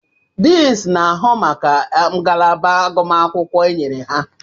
Deans na-ahụ maka ngalaba agụmakwụkwọ enyerela.